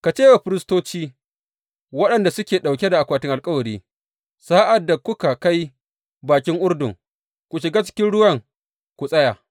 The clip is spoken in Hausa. Ka ce wa firistoci waɗanda suke ɗauke da akwatin alkawari, Sa’ad da kuka kai bakin Urdun, ku shiga cikin ruwan ku tsaya.’